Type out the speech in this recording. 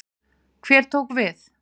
Hver tók við?